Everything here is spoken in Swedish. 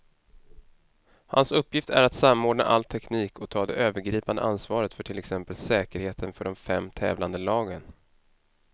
Hans uppgift är att samordna all teknik och ta det övergripande ansvaret för till exempel säkerheten för de fem tävlande lagen.